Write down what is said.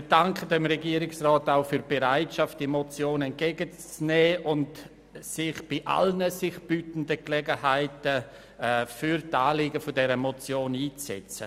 Wir danken dem Regierungsrat auch für die Bereitschaft, die Motion entgegenzunehmen und sich bei allen sich bietenden Gelegenheiten für die Anliegen der Motion einzusetzen.